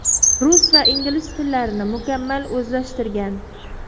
Rus va ingliz tillarini mukammal o‘zlashtirgan.